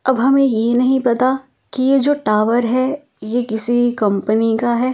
अब हमें ये नहीं पता कि ये जो टावर है ये किसी कंपनी का है ।